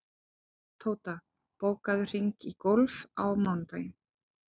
Tóta, bókaðu hring í golf á mánudaginn.